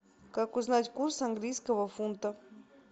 как узнать курс английского фунта